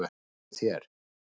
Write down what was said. En hjá þér?